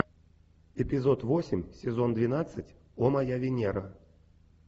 эпизод восемь сезон двенадцать о моя венера